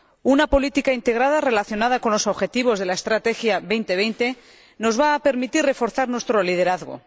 Una política integrada relacionada con los objetivos de la Estrategia Europa 2020 nos va a permitir reforzar nuestro liderazgo.